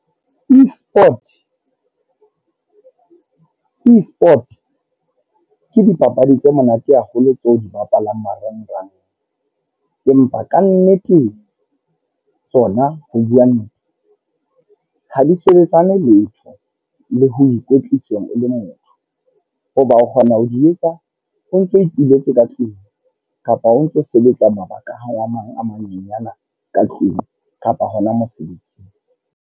E-sport, e-sport. Ke dipapadi tse monate haholo tseo di bapalang marangrang. Empa kannete tsona ho bua nnete ha di sebetsane letho le ho ikwetlisa e le motho. Hoba o kgona ho di etsa ho ntso ituletse ka tlung, kapa o ntso sebetsa mabaka a mang a manyenyana ka tlung. Kapa hona mosebetsing.